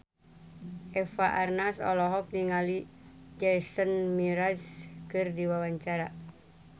Eva Arnaz olohok ningali Jason Mraz keur diwawancara